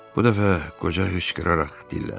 Bu dəfə qoca hıçqıraraq dilləndi.